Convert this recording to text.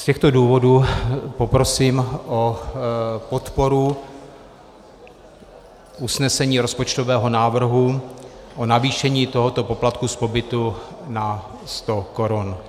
Z těchto důvodů poprosím o podporu usnesení rozpočtového návrhu o navýšení tohoto poplatku z pobytu na 100 korun.